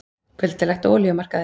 Kuldalegt á olíumarkaði